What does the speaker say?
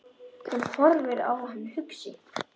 Hún horfir á hann hugsi.